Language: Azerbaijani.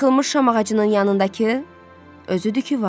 Yıxılmış şam ağacının yanındakı özüdü ki var.